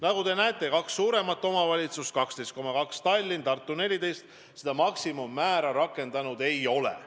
Nagu te näete, on kaks suurt omavalitsust – Tallinn 12,2%-ga ja Tartu 14%-ga –, kes maksimummäära rakendanud ei ole.